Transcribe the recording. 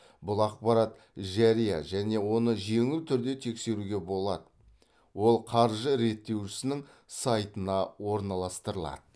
бұл ақпарат жария және оны жеңіл түрде тексеруге болады ол қаржы реттеушісінің сайтына орналастырылады